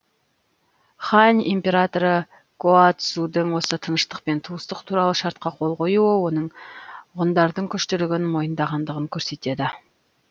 хань императоры гаоцзудың осы тыныштық пен туыстық туралы шартқа қол қоюы оның ғұндардың күштілігін мойындағандығын көрсетеді